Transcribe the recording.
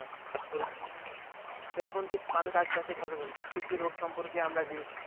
তো এখন কিছু মানুষ আস্তে আস্তে সচেতন প্রত্যেকটি রোগ সম্পর্কে আমরা